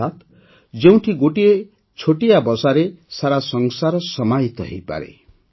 ଅର୍ଥାତ୍ ଯେଉଁଠି ଗୋଟିଏ ଛୋଟିଆ ବସାରେ ସାରା ସଂସାର ସମାହିତ ହୋଇପାରେ